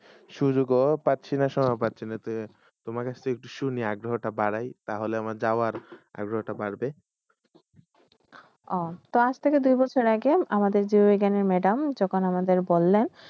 সুযোগ পাসসি না, সহগ পাসসি না তুমার কাশে একট তাহইলে আমার যাবার আগ্রহতা বারহব আহ তো আযথেকে দুই বসর আগে য এখান madam য আমেকে বললেন